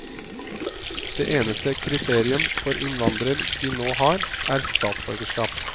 Det eneste kriterium for innvandrer de nå har, er statsborgerskap.